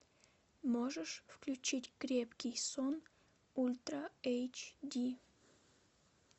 можешь включить крепкий сон ультра эйч ди